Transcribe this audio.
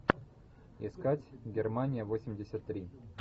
искать германия восемьдесят три